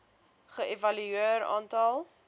ge evalueer aantal